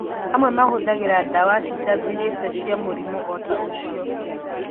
Amwe mahũthagĩra dawa citathirĩte cia mũrimũ oota-ũcio